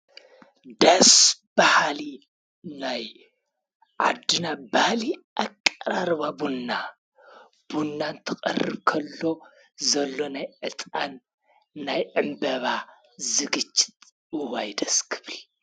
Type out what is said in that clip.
ደስ በሃሊ ናይ ዓድና ባህሊ ኣቀራርባ ቡና ቡና እንትቀርብ ከሎ ዘሎ ናይ ዕጣን ናይ ዕምበባ ዝግጅት እዋይ ደስ ክብል።